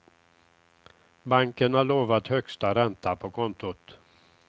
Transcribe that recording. Banken har lovat högsta ränta på kontot.